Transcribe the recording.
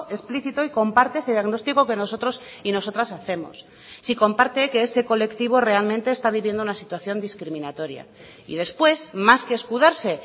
explícito y comparte ese diagnóstico que nosotros y nosotras hacemos si comparte que ese colectivo realmente está viviendo una situación discriminatoria y después más que escudarse